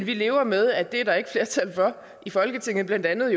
vi lever med at det er der ikke flertal for i folketinget blandt andet